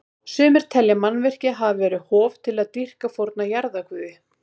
Sumir telja að mannvirkið hafi verið hof til að dýrka forna jarðarguði.